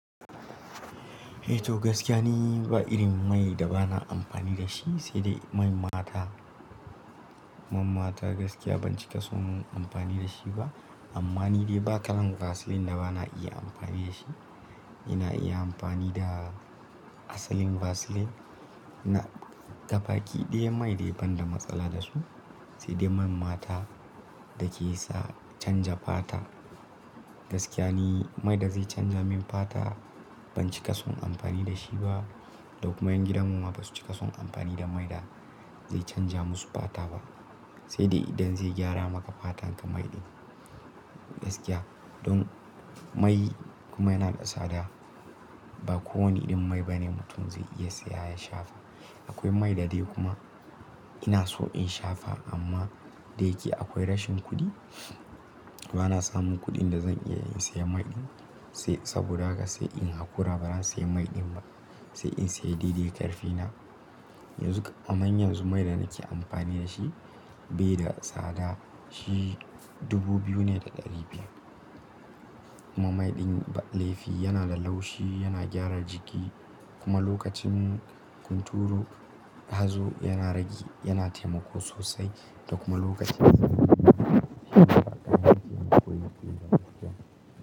Eh to gaskiya ne ba irin mai da ba na amfani da shi, sai dai man mata. Man mata gaskiya ban cika son amfani da shi ba. Amma ni dai ba kalan Vaseline da ba na iya amfani da shi. Ina iya amfani da asalin Vaseline. Na gafaki ɗaya mai dai ban da matsala da su, sai dai man mata da ke sa canja fata. Gaskiya ne mai da zai canja min fata ban cika son amfani da shi ba. Da kuma ƴan gidan mu ma basu cika son amfani da mai da zai canja musu fata ba, sai dai idan zai gyara maka fatan ka mai ɗin. Gaskiya don mai kuma yana da tsada, ba kowane irin mai ba ne mutum zai iya saya ya shafa. Akwai mai da dai kuma ina so in shafa amma da yake akwai rashin kuɗi, ba na samun kuɗin da zan iya in saya mai ɗin. Sai saboda haka sai in hakura ban saya mai ɗin ba, sai in saya daidai ƙarfe na. Yanzu kam anyi yanzu mai da nake amfani da shi bai da tsada. Shi dubu biyu ne da ɗari biyar. Kuma mai ɗin laifi yana da laushi, yana gyara jiki kuma lokacin hunturo, hazo yana rage, yana taimako sosai da kuma lokacin yana taimaka.